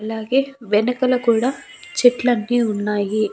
అలాగే వెనకల కూడా చెట్లన్ని ఉన్నాయి.